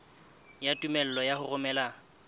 ya tumello ya ho romela